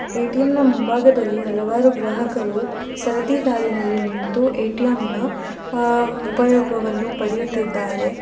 ATM ನ ಮುಂಭಾಗದಲ್ಲಿ ಹಲವಾರು ಗ್ರಾಹಕರು ಸಾರತಿ ಸಾಲಿನಲ್ಲಿ ನಿಂತು ಎ_ಟಿ_ಎಂ ನ ಆ ಉಪಯೋಗವನ್ನು ಪಡೆಯುತ್ತಿದ್ದಾರೆ.